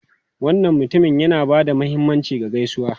Wannan mutumin yana ba da mahimmanci ga gaisuwa.